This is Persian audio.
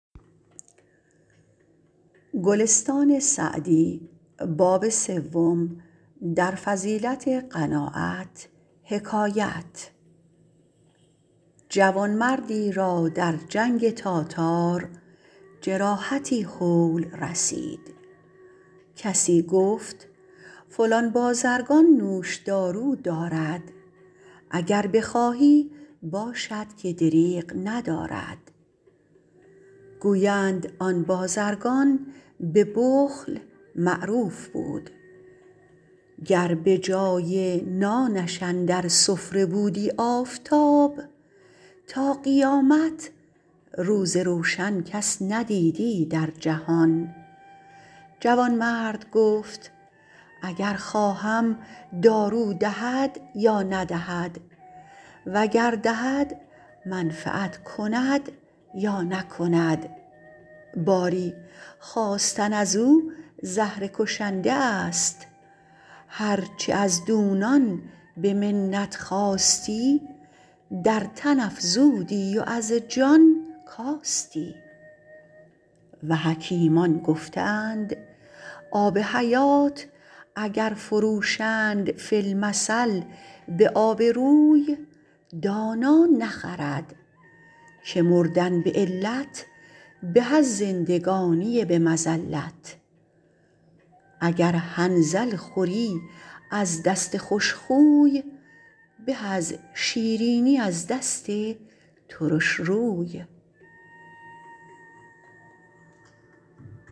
جوانمردی را در جنگ تاتار جراحتی هول رسید کسی گفت فلان بازرگان نوش دارو دارد اگر بخواهی باشد که دریغ ندارد گویند آن بازرگان به بخل معروف بود گر به جای نانش اندر سفره بودی آفتاب تا قیامت روز روشن کس ندیدی در جهان جوانمرد گفت اگر خواهم دارو دهد یا ندهد و گر دهد منفعت کند یا نکند باری خواستن از او زهر کشنده است هر چه از دونان به منت خواستی در تن افزودی و از جان کاستی و حکیمان گفته اند آب حیات اگر فروشند فی المثل به آب روی دانا نخرد که مردن به علت به از زندگانی به مذلت اگر حنظل خوری از دست خوش خوی به از شیرینی از دست ترش روی